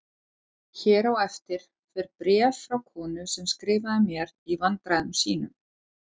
Hér á eftir fer bréf frá konu sem skrifaði mér í vandræðum sínum